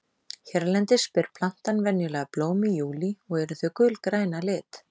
Hérlendis ber plantan venjulega blóm í júlí og eru þau gulgræn að lit.